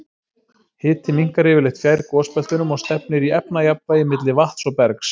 Hiti minnkar yfirleitt fjær gosbeltunum og stefnir í efnajafnvægi milli vatns og bergs.